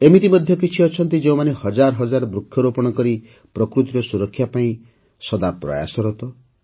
ଏମିତି ମଧ୍ୟ କିଛି ରହିଛନ୍ତି ଯେଉଁମାନେ ହଜାର ହଜାର ବୃକ୍ଷରୋପଣ କରି ପ୍ରକୃତିର ସୁରକ୍ଷା ପାଇଁ ପ୍ରୟାସରତ